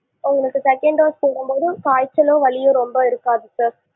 ஆ உங்களுக்கு second dose போடும் போது காய்ச்சலோ வலியோ ரொம்ப இருக்காது sir